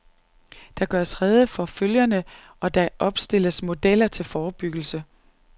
Der gøres rede for følgerne, og der opstilles modeller til forebyggelse.